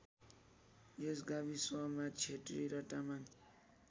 यस गाविसमा क्षेत्री र तामाङ